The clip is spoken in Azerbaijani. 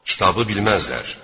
Kitabı bilməzlər.